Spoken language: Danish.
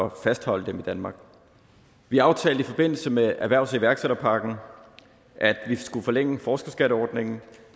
at fastholde dem i danmark vi aftalte i forbindelse med erhvervs og iværksætterpakken at vi skulle forlænge forskerskatteordningen